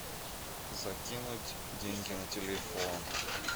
закинуть деньги на телефон